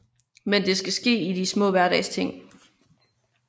Men det skal ske i de små hverdagsting